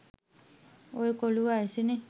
ඔය කොලු වයසනේ